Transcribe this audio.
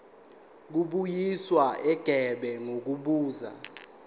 kubuyiswa igebe ngokubuza